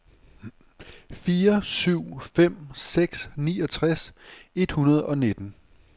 fire syv fem seks niogtres et hundrede og nitten